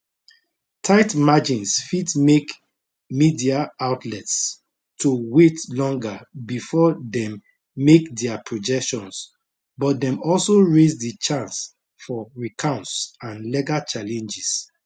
tight margins fit make media outlets to wait longer bifor dem make dia projections but dem also raise di chance for recounts and legal challenges